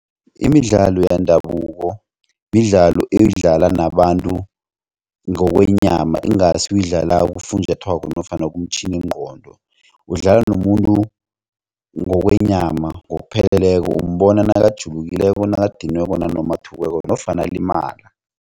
Imidlalo yendabuko midlalo oyidlalwa nabantu ngokwenyama ingasi uyidlala kufunjathwako nofana kumtjhiningqondo udlala nomuntu ngokwenyama ngokupheleleko umbona nakajulukileyo nakadiniweko nanoma athukweko nofana alimala.